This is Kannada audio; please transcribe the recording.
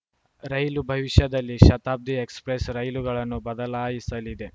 ರೈಲು ಭವಿಷ್ಯದಲ್ಲಿ ಶತಾಬ್ದಿ ಎಕ್ಸ್‌ಪ್ರೆಸ್‌ ರೈಲುಗಳನ್ನು ಬದಲಾಯಿಸಲಿದೆ